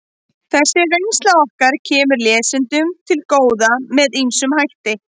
Þessi reynsla okkar kemur lesendum til góða með ýmsum hætti.